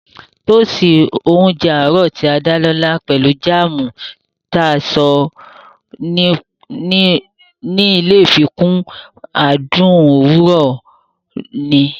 Tóósi oúnjẹ àárọ̀ tí a dá lọ́lá pelu jáàmù tí a ṣe ní ilé fikún adùn òwúrọ̀ mi